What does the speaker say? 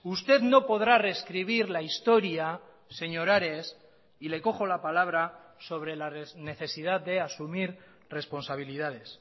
usted no podrá rescribir la historia señor ares y le cojo la palabra sobre la necesidad de asumir responsabilidades